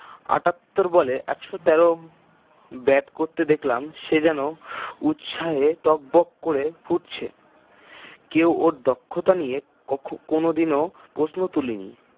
আটাত্তর বলে একশ তের bat করতে দেখলাম সে যেন উৎসাহে টগবগ করে ফুটছে কেউ ওর দক্ষতা নিয়ে কখকোনো দিনও প্রশ্ন তোলে নি